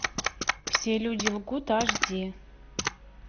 все люди лгут аш ди